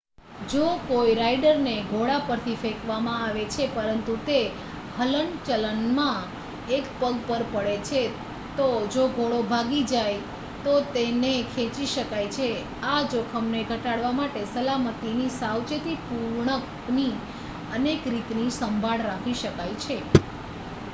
જો કોઈ રાઇડરને ઘોડા પરથી ફેંકવામાં આવે છે પરંતુ તે હલનચલણમાં એક પગ પર પડે છે તો જો ઘોડો ભાગી જાય તો તેને ખેંચી શકાય છે આ જોખમને ઘટાડવા માટે સલામતીની સાવેચેતીપૂર્ણકની અનેક રીતની સંભાળ રાખી શકાય છે